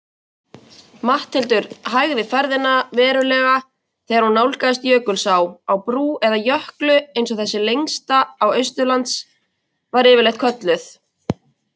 Allir þessir þættir sýna ákveðna andfélagslega hegðun og skort á samúð og samhygð.